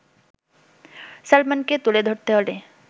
সালমানকে তুলে ধরতে হলে